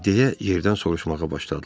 Deyə yerdən soruşmağa başladılar.